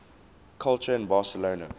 culture in barcelona